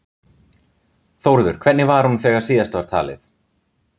Þórður, hvernig var hún þegar síðast var talið?